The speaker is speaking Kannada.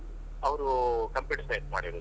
ಅವ್ರೂ Computer Science ಮಾಡಿರೋದು.